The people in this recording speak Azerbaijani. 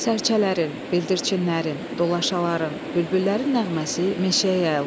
Sərçələrin, bildirçinlərin, dolaşaların, bülbüllərin nəğməsi meşəyə yayılmışdı.